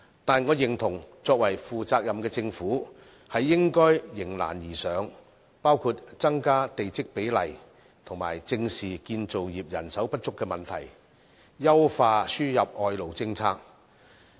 但是，我認同負責任的政府應該迎難而上，包括增加地積比例，以及正視建造業人手不足的問題，優化輸入外勞政策。